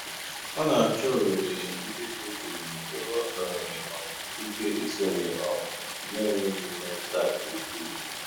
Ọ na-àchọ́ òghèrè ndí dị́ jụ́ụ́ ébè ọ ka nwèrè um ìké ìsònyè um na-ènwèghị́ mmètụ́tà nkè ùkwuù.